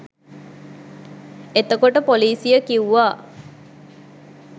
එත‍කොට පොලිසිය කිව්වා